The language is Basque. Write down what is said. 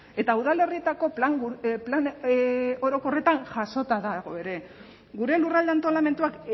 eta udalerrietako plan orokorretan jasota dago ere gure lurralde antolamenduak